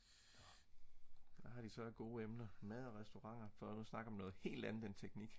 hvad har de så af gode emner mad og restauranter for nu at snakke om noget helt andet end teknik